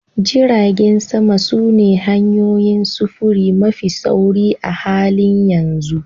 Jiragen sama sune hanyoyin sufuri mafi sauri a halin yanzu